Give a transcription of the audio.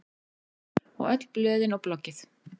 Og öll blöðin og bloggið.